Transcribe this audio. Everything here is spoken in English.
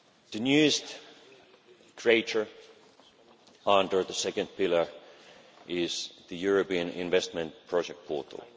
The newest creation under the second pillar is the European Investment Project Portal.